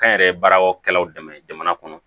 Kɛnyɛrɛye baaraw kɛlaw dɛmɛ jamana kɔnɔ